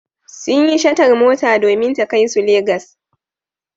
Sun yi shatar mota domin ta kai su Legas.